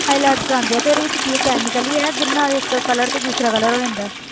Highlights ਕਰਵਾਉਂਦੇ ਆ ਤੇ ਉਹਦੇ ਵਿੱਚ ਕੀ ਹੈ chemical ਹੀ ਹੈ ਜਿਹਦੇ ਨਾਲ ਇੱਕ colour ਤੋਂ ਦੂਸਰਾ colour ਹੋ ਜਾਂਦਾ ਹੈ।